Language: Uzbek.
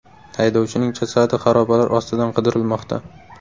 Haydovchining jasadi xarobalar ostidan qidirilmoqda.